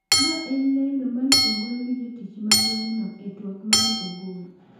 Ma en lendo mane ogol gi jotich ma gweng'no e twak mane ogol.